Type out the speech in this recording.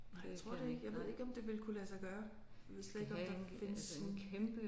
Nej jeg tror det ikke jeg ved ikke om det ville kunne lade sig gøre. Jeg ved slet ikke om der findes sådan